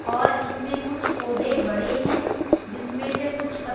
और इसमें कुछ पौधे बड़े हैं जिसमें से कुछ पत--